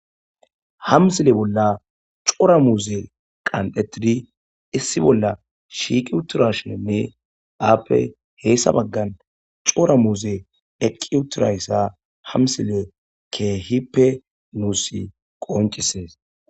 Ha missile bolla coora muzze qonxetid issi bolla shiqi uttrashenne appe hyssa bagan coora muzze eqqi utrayssa ha missile kehippe nussi qoncisess.